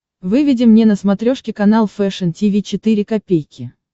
выведи мне на смотрешке канал фэшн ти ви четыре ка